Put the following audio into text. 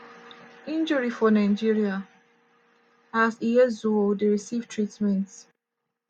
injury for nigeria as ihezuo dey receive treatment.